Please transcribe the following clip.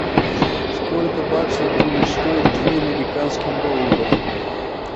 сколько баксов будет стоить две американских долларов